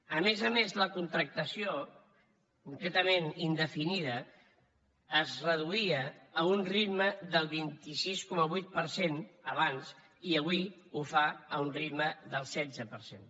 a més a més la contractació concretament indefinida es reduïa a un ritme del vint sis coma vuit per cent abans i avui ho fa a un ritme del setze per cent